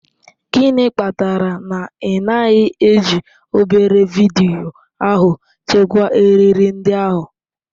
Gịnị kpatara na ị naghị eji obere vidiyo ahụ chekwaa eriri ndị ahụ?